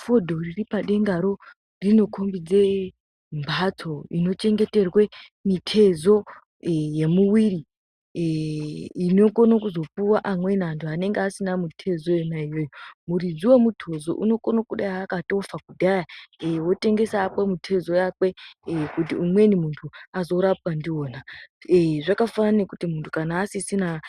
Fodho riripadengaro rinokombedze mhatso inochengeterwe mitezo yemumwiri inokone kuzopuwa amweni antu anenge asina mitezo yona iyoyo muridzi wemutezo unokone kudai akatofa kudhaya wotengesa hakwe mitezo yakwe kuti umweni munhu azorapwa ndiwona, zvakafanana nekuti munhu kana asisisina